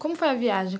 Como foi a viagem?